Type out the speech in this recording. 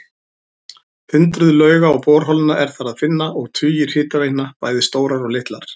Hundruð lauga og borholna er þar að finna og tugir hitaveitna, bæði stórar og litlar.